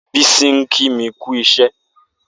Bisi n kí mi kì iṣẹ